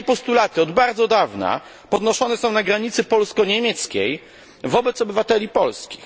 Takie postulaty od bardzo dawna podnoszone są na granicy polsko niemieckiej wobec obywateli polskich.